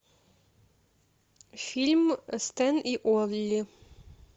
фильм стэн и олли